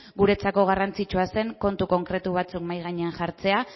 guretzako garrantzitsua zen kontu konkretu batzuk mahai gainean jartzea